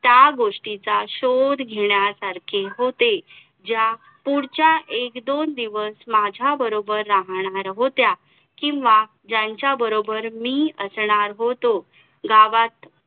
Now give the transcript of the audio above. एकोणीशे छत्तीस ला राष्ट्रीय सभेचे पहिले ग्रामीण अधिवेशन भरलं. ते फेदपूर या ठिकाणे. त्याचे अध्यक्ष होते आपले पंडित जवाहरलाल नेहरू.